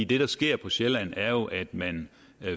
det der sker på sjælland er jo at man